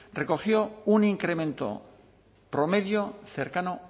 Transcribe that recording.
recogió un incremento promedio cercano